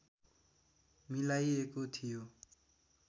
मिलाइएको थियो